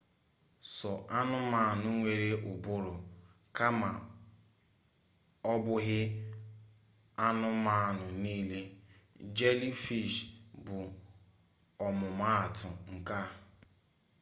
sọ anụmanụ nwere ụbụrụ kama ọbụghị anụmanụ nile; jelifish bụ ọmụma atụ nke a